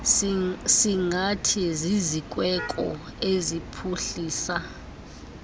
singathi zizikweko eziphuhlisa